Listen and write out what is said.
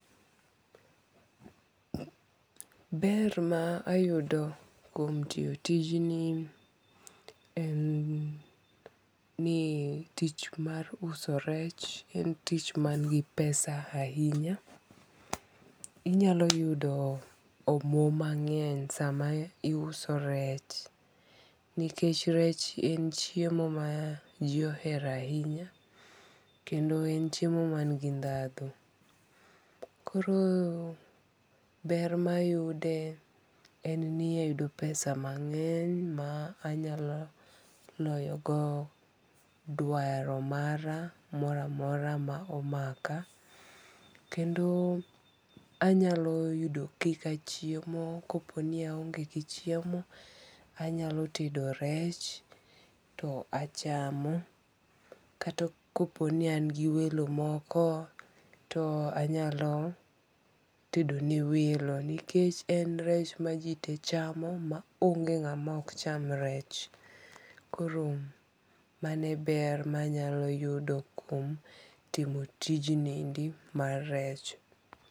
Ber ma ayudo kuom tiyo tijni en ni tich mar uso rech en tich ma ni gi pesa ahinya. Inya yudo omwom mang'eny sa ma iuso rech. Nikech rech en chiemo ma ji ohero ahinya, kendo en chiemo ma ni gi dhandhu. Koro ber ma ayude en ni ayudo pesa mang'eny ma anyalo loyo go dwaro mara moro amora ma omaka kendo anyalo yudo kaka chiemo ka po ni aonge gi chiemo anyalo tedo rech to achamo kata ko po ni an gi welo moko to anyalo tedo ne welo. Nikech en rech ma ji te chamo ma obnge nga ma ok cham rech. Koro mano e ber ma anya yudo kum tijni endi mar rech